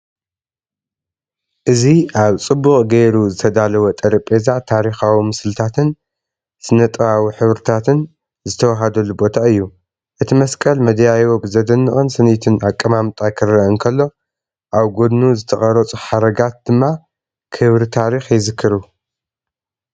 እዚ ኣብ ጽቡቕ ጌሩ ዝተዳለወ ጠረጴዛ፡ ታሪኻዊ ምስልታትን ስነ-ጥበባዊ ሕብርታትን ዝተወሃድሉ ቦታ እዩ። እቲ መስቀል መደያይቦ ብዘደንቕን ስኒትን ኣቀማምጣ ክረአ እንከሎ፡ ኣብ ጎድኑ ዝተቐርጹ ሓረጋት ድማ ክብሪ ታሪኽ ይዝክሩ።